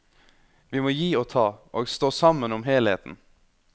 Vi må gi og ta, og stå sammen om helheten.